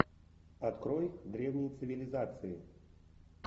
открой древние цивилизации